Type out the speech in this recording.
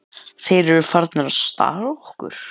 Þeir eru farnir að stara á okkar.